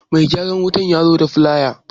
Mai gyaran wutan yazo da filaya